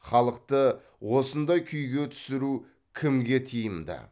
халықты осындай күйге түсіру кімге тиімді